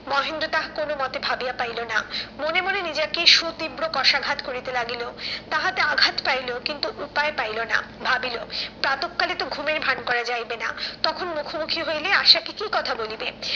মহেন্দ্র তাহা কোনো মতে ভাবিয়া পাইলো না। মনে মনে নিজেকে সুতীব্র কষাঘাত করিতে লাগিল। তাহাতে আঘাত পাইলো কিন্তু উপায় পাইলো না। ভাবিলো প্রাতঃকালে তো ঘুমের ভান করা যাইবে না, তখন মুখোমুখি হইলে আশাকে কি কথা বলিবে?